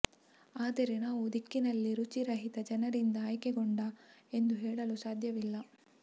ಆದರೆ ನಾವು ದಿಕ್ಕಿನಲ್ಲಿ ರುಚಿ ರಹಿತ ಜನರಿಂದ ಆಯ್ಕೆಗೊಂಡ ಎಂದು ಹೇಳಲು ಸಾಧ್ಯವಿಲ್ಲ